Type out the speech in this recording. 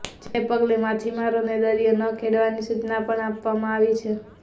જેને પગલે માછીમારોને દરિયો ન ખેડવાની સૂચના પણ આપવામાં આવી છે